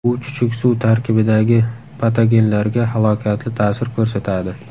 U chuchuk suv tarkibidagi patogenlarga halokatli ta’sir ko‘rsatadi.